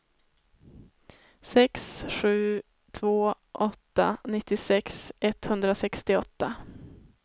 sex sju två åtta nittiosex etthundrasextioåtta